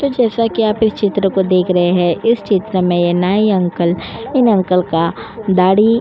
तो जैसा कि आप इस चित्र को देख रहे हैं। इस चित्र में ये नाई अंकल इन अंकल का दाढ़ी --